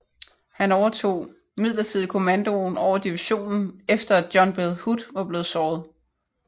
Han overtog midlertidig kommandoen over divisionen efter at John Bell Hood var blevet såret